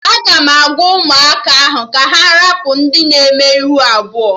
Aga m agwa ụmụaka ahụ ka ha rapụ ndị na eme ihu abụọ